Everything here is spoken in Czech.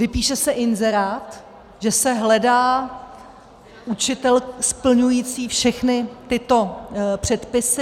Vypíše se inzerát, že se hledá učitel splňující všechny tyto předpisy.